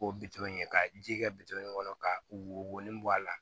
K'o bito in ye ka ji kɛ bitɔn in kɔnɔ ka wo wɔni bɔ a la